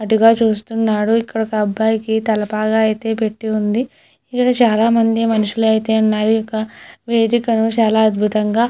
అటుగా చూస్తున్నాడు ఇటు ఒక అబ్బాయికి తలపోగా అయితే పెట్టి ఉంది. ఇక్కడ చాలామంది మనుషులు అయితే ఉన్నారు. ఇక్కడ వేదిక చాలా అద్భుతంగా--